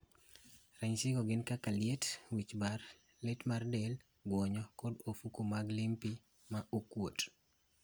Ranyisi go gin kaka, liet, wich bar, lit mar del, guonyo, kod ofuke mag lympy ma okuot